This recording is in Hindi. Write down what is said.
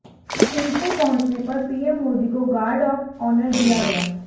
थिम्पू पहुंचने पर पीएम मोदी को गार्ड ऑफ ऑनर दिया गया